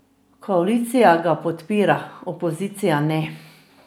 Koalicija ga podpira, opozicija ne.